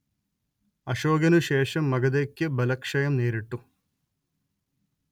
അശോകനുശേഷം മഗധയ്ക്ക് ബലക്ഷയം നേരിട്ടു